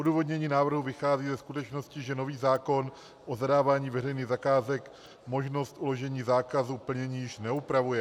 Odůvodnění návrhu vychází ze skutečnosti, že nový zákon o zadávání veřejných zakázek možnost uložení zákazu plnění již neupravuje.